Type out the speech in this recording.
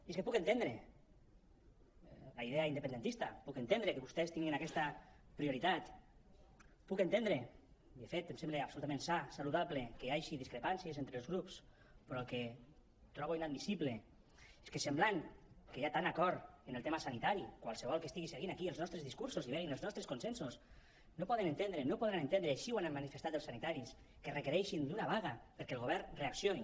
i és que puc entendre la idea independentista puc entendre que vostès tinguin aquesta prioritat puc entendre i de fet em sembla absolutament sa saludable que hi hagi discrepàncies entre els grups però el que trobo inadmissible és que semblant que hi ha tant acord en el tema sanitari qualsevol que estigui seguint aquí els nostres discursos i vegi els nostres consensos no podrà entendre així ho han manifestat els sanitaris que requereixin una vaga perquè el govern reaccioni